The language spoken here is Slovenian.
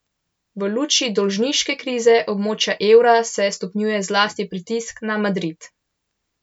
V luči dolžniške krize območja evra se stopnjuje zlasti pritisk na Madrid.